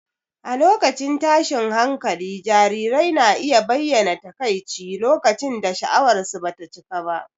A lokacin tashin hankali, jarirai na iya bayyana takaici lokacin da sha'awarsu ba ta cika ba.